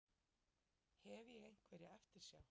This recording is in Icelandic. Hef ég einhverja eftirsjá?